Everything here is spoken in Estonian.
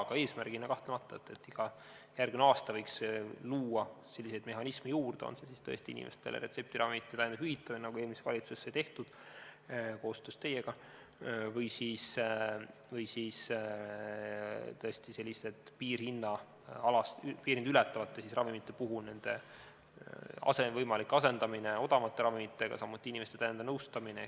Aga eesmärgina, kahtlemata, iga järgmine aasta võiks luua selliseid mehhanisme juurde, on see siis tõesti inimestele retseptiravimite hüvitamine, nagu eelmises valitsuses sai tehtud koostöös teiega, või siis tõesti piirhinda ületavate ravimite puhul nende võimalik asendamine odavamate ravimitega, samuti inimeste nõustamine.